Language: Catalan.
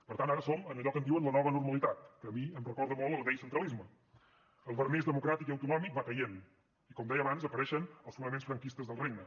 per tant ara som en allò que en diuen la nova normalitat que a mi em recorda molt el vell centralisme el vernís democràtic i autonòmic va caient i com deia abans apareixen els fonaments franquistes del regne